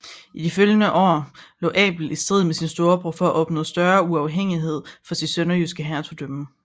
I de følgende år lå Abel i strid med sin storebror for at opnå større uafhængighed for sit sønderjyske hertugdømme